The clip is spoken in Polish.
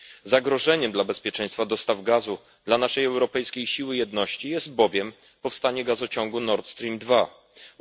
Zagrożeniem dla bezpieczeństwa dostaw gazu, dla naszej europejskiej siły jedności jest bowiem powstanie gazociągu Nord Stream II.